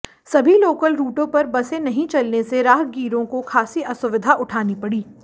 सभी लोकल रूटों पर बसे नही चलने से राहगीरों को खासी असुविधा उठानी पड़ी